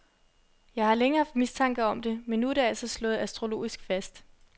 Jeg har længe haft mistanke om det, men nu er det altså slået astrologisk fast.